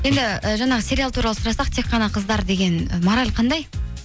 енді і жаңағы сериал туралы сұрасақ тек қана қыздар деген і мораль қандай